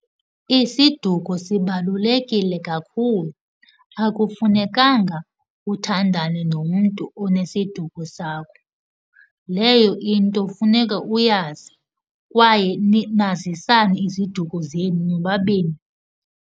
Isiduko sibalulekile kakhulu. Akufunekanga uthandane nomntu onesiduko sakho. Leyo into funeka uyazi kwaye nazisane iziduko zenu nobabini.